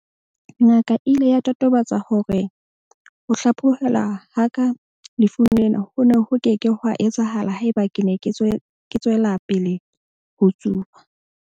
"Ngaka e ile ya totobatsa hore ho hlaphohelwa ha ka lefung lena ho ne ho ke ke hwa etsahala haeba ke ne ke tswela pele ho tsuba."